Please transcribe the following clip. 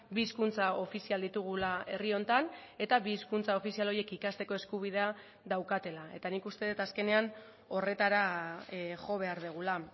bi hizkuntza ofizial ditugula herri honetan eta bi hizkuntza ofizial horiek ikasteko eskubidea daukatela eta nik uste dut azkenean horretara jo behar dugula